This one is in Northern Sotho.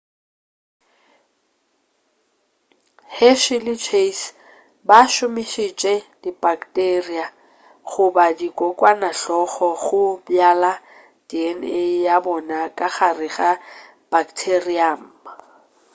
hershey le chase ba šomišitše dibakteria goba dikokwanahloko go bjala dna ya bona ka gare ga bacterium